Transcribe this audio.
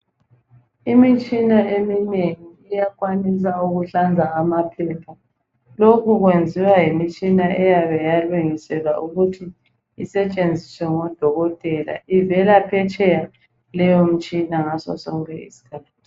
Imitshina eminengi uyakwanisa ukuhlanza amaphepha ,lokhu kwenziwa yimitshina eyabe yalungiselwa ukuthi isetshenziswe ngodokotela ukwenzela ukuthi incede odokotela ivela phetsheya leyomtshina ngasosonke iskhathi.